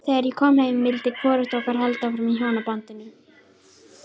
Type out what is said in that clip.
Þegar ég kom heim vildi hvorugt okkar halda hjónabandinu áfram.